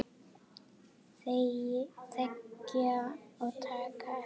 Þegja og taka eftir!